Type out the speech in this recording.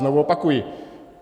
Znovu opakuji.